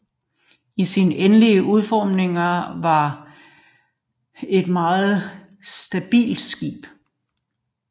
I sin endelige udformning var Devastation et meget stabilt skib